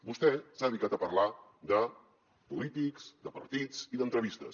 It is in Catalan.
vostè s’ha dedicat a parlar de polítics de partits i d’entrevistes